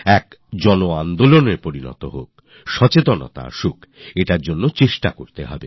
একটি গণআন্দোলন গড়ে উঠুক সচেতনয়া বাড়ুক এর জন্য চেষ্টা করতে হবে